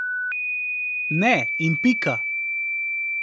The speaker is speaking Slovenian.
Ne in pika.